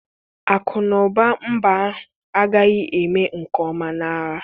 Akụ na ụba mba ahụ agaghị eme nke ọma na agha.